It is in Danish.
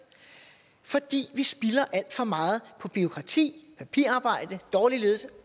fordi vi spilder alt for meget på bureaukrati papirarbejde dårlig ledelse